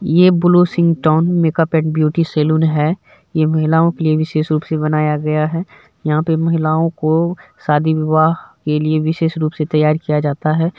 ये blue sing tone makeup and beauty salon हैं। ये महिलाओ के लिए विशेष रूप से बनाया गया हैं। यहाँ पे महिलाओ को शादी विवाह के लिए विशेष रूप से तैयार किया जाता हैं।